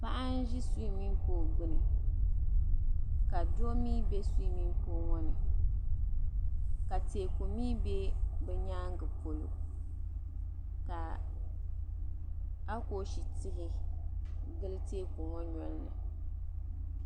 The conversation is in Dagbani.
Paɣa n-Ʒi "swimming pool" gbuni ka doo mii bɛ "swimming pool" ŋɔ ni ka teeku mii be bɛ nyaaŋa polo ka akooshi tihi gili teeku ŋɔ nolini.